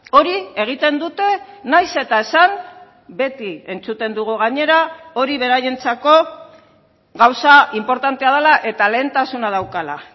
hori egiten dute naiz eta esan beti entzuten dugu gainera hori beraientzako gauza inportantea dela eta lehentasuna daukala